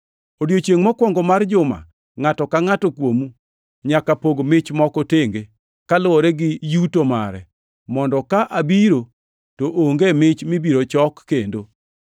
Odiechiengʼ mokwongo mar juma ngʼato ka ngʼato kuomu nyaka pog mich moko tenge, kaluwore gi yuto mare mondo ka abiro to onge mich mibiro chok kendo.